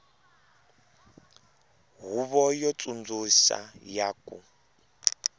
huvo yo tsundzuxa ya ku